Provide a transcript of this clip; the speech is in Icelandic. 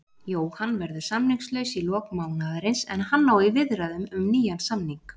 Jóhann verður samningslaus í lok mánaðarins en hann á í viðræðum um nýjan samning.